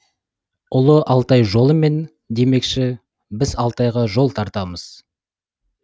ұлы алтай жолымен демекші біз алтайға жол тартамыз